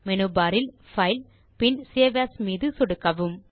menu bar இல் file பின் save as மீது சொடுக்கவும்